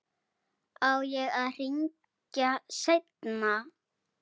Á ég að hringja seinna?